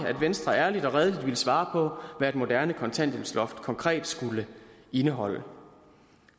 at venstre ærligt og redeligt ville svare på hvad et moderne kontanthjælpsloft konkret skulle indeholde